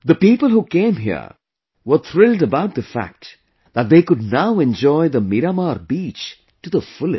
The people who came here were thrilled about the fact that they could now enjoy the 'Miramar Beach' to the fullest